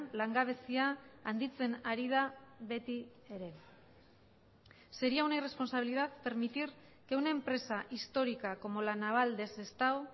langabezia handitzen ari da beti ere sería una irresponsabilidad permitir que una empresa histórica como la naval de sestao